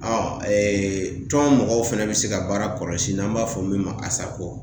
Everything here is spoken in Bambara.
tɔn mɔgɔw fɛnɛ bɛ se ka baara kɔlɔsi n'an b'a fɔ min ma ASACO .